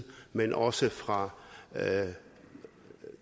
men også fra